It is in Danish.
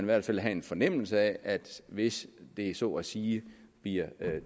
hvert fald have en fornemmelse af at hvis det så at sige bliver